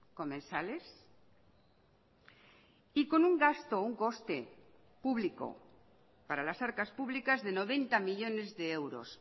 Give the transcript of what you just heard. comensales y con un gasto un coste público para las arcas públicas de noventa millónes de euros